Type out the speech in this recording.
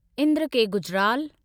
Indra K Gujral